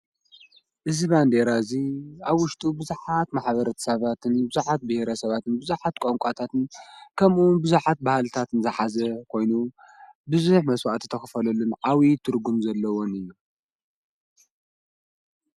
እዚ ባንዴራ እዙይ ኣብውሽጡ ብዙኃት ማኅበረት ሰባትን ይብዙኃት ብሔረ ሰባትን ብዙኃት ቆንቋታትን ከምኡን ብዙኃት በሃልታትን ዝኃዘ ኮይኑ፤ ብዙኅ መሥዋዕት ተኽፈሎሉን ዓዊ ትርጕም ዘለዎን እዩ።